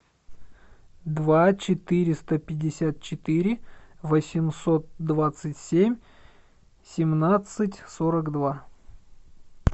два четыреста пятьдесят четыре восемьсот двадцать семь семнадцать сорок два